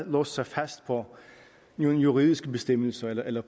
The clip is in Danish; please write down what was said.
låst sig fast på juridiske bestemmelser eller